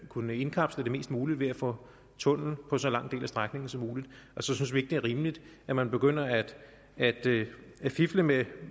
kunnet indkapsle det mest muligt ved at få tunnel på så lang en del af strækningen som muligt og så synes vi ikke det er rimeligt at man begynder at fifle med